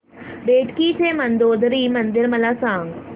बेटकी चे मंदोदरी मंदिर मला सांग